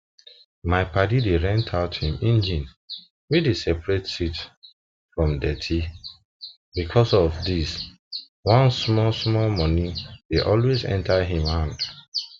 my padi dey rent out him engine wey dey separate seed from deti because of this one smallsmall money dey always enter him him hand